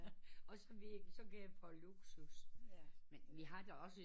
Og så vil jeg gerne prøve luksus